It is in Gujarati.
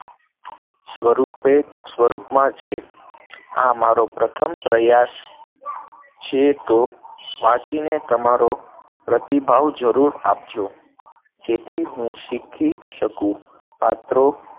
સ્વરૂપે, સ્વરૂપમાં છે, આ મારો પ્રથમ પ્રયાસ છે તો વાંચીને તમારો પ્રતિભાવ જરૂર આપજો, જેથી હું શીખી શકું, પાત્રો